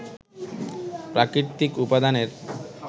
প্রাকৃতিক উপাদানের